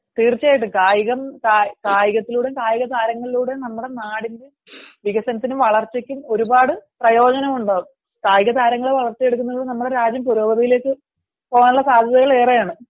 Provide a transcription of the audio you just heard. തീർച്ചയായിട്ടും കായികം കായികത്തിലൂടെയും കായിക താരങ്ങളിലൂടെയും നമ്മുടെ നാടിൻറെ വളർച്ചയ്ക്കും വികസനത്തിനും ഒരുപാട് പ്രയോജനമുണ്ടാവും. കായിക താരങ്ങളെ വളർത്തിയെടുക്കുന്നത്തിലൂടെ നമ്മുടെ രാജ്യം പുരോഗതിയിലേക്കു പോവാനുള്ള സാധ്യത ഏറെയാണ്